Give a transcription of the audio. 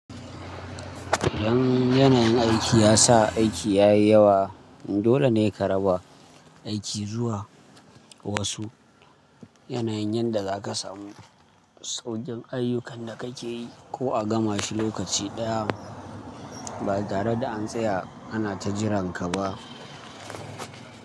Idan yanayin aiki ya sa aiki ya yi yawa, dole ne ka raba aiki zuwa wasu yanayin yadda za ka samu sauƙin ayyukan da kake yi ko a gama shi lokaci ɗaya. Ba tare da an tsaya ana ta jiranka ba.